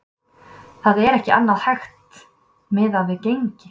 Það er ekki annað hægt miðað við gengi.